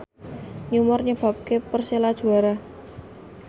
Neymar nyebabke Persela juara